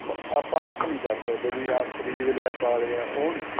ਆਪਾਂ ਆਪ ਨਹੀਂ ਕਰ ਸਕਦੇ ਵੀ ਆਪ ਖ਼ਰੀਦ ਲਿਆ ਪਾਂ ਲਿਆ ਉਹ ਨਹੀਂ